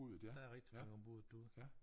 Der er rigtig mange om buddet derude